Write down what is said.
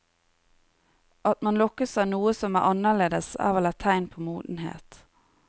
At man lokkes av noe som er annerledes er vel et tegn på modenhet.